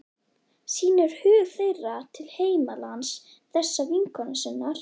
Sýnir hug þeirra til heimalands þessarar vinkonu sinnar.